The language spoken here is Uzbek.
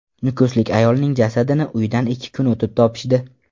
Nukuslik ayolning jasadini uyidan ikki kun o‘tib topishdi.